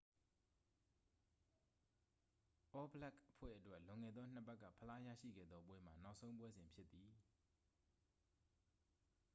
အောဘလက်ခ်အဖွဲ့အတွက် လွန်ခဲ့သော နှစ်ပတ်က ဖလားရရှိခဲ့သောပွဲမှာ နောက်ဆုံးပွဲစဉ်ဖြစ်သည်